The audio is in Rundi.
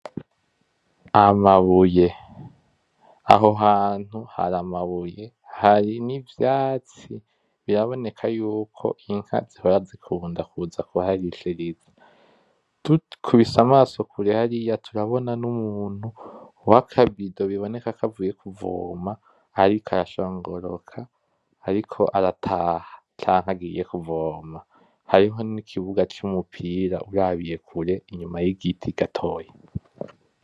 Amabuye. Aho hantu hari amabuye, hari nivyatsi, bira boneka yuko inka zihora zikunda kuza kuharishiriza. Dukubisa amaso kure hariya turabona n'umuntu wakabido biboneka ko avuye kuvoma ariko arashongoroka, ariko arataha, canke agiye kuvoma. Hariho nikibuga cumupira urabiye kure inyuma yigiti gatoya.